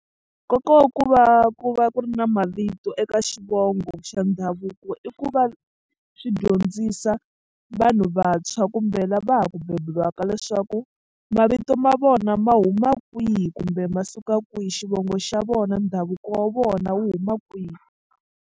Nkoka wa ku va ku va ku ri na mavito eka xivongo xa ndhavuko i ku va swi dyondzisa vanhu vantshwa kumbe la va ha ku beburiwaka leswaku mavito ma vona ma huma kwihi kumbe ma suka kwihi xivongo xa vona ndhavuko wa vona wu huma kwihi.